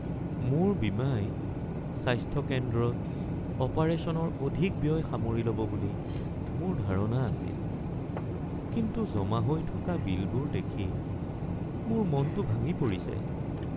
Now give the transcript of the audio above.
মোৰ বীমাই স্বাস্থ্য কেন্দ্ৰত অপাৰেশ্যনৰ অধিক ব্যয় সামৰি ল'ব বুলি মোৰ ধাৰণা আছিল। কিন্তু জমা হৈ থকা বিলবোৰ দেখি মোৰ মনতো ভাঙি পৰিছে।